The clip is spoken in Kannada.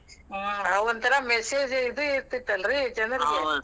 ಹ್ಮ್ ಆವ್ ಒಂಥರಾ message ಇದ್ ಇರ್ತಿತ್ತಲ್ರಿ .